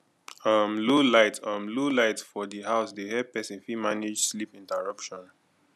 um low light um low light for di house dey help person fit manage sleep interruption